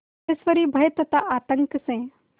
सिद्धेश्वरी भय तथा आतंक से